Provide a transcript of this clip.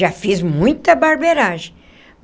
Já fiz muita barbeiragem.